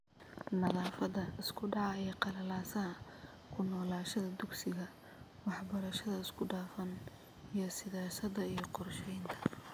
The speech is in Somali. Naafada, isku dhaca iyo qalalaasaha , ku noqoshada dugsiga , waxbarashada isku dhafan , iyo siyaasadda iyo qorshaynta